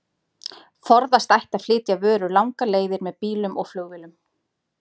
Forðast ætti að flytja vörur langar leiðir með bílum og flugvélum.